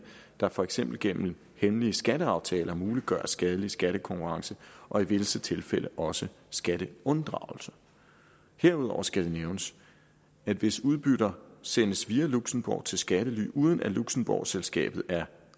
der for eksempel gennem hemmelige skatteaftaler muliggør skadelig skattekonkurrence og i visse tilfælde også skatteunddragelse herudover skal det nævnes at hvis udbytter sendes via luxembourg til skattely uden at luxembourg selskabet er